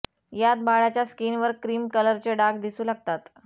यात बाळाच्या स्कीनवर क्रीम कलरचे डाग दिसू लागतात